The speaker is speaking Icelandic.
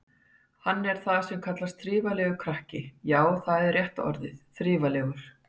Hann er það sem kallast þriflegur krakki, já, það er rétta orðið, þriflegur.